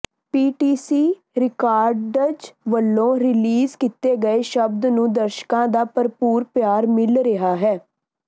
PTC records ਵੱਲੋਂ release ਕੀਤੇ ਇਸ ਸ਼ਬਦ ਨੂੰ ਦਰਸ਼ਕਾਂ ਦਾ ਭਰਪੂਰ ਪਿਆਰ ਮਿਲ ਰਿਹਾ ਹੈ